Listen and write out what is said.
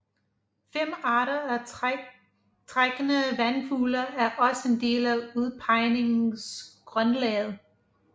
Fem arter af trækkende vandfugle er også en del af udpegningsgrundlaget